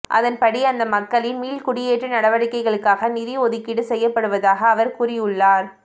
அதன்படி அந்த மக்களின் மீள்குடியேற்ற நடவடிக்கைக்காக நிதி ஒதுக்கீடு செய்யப்படுவதாக அவர் கூறியுள்ளார்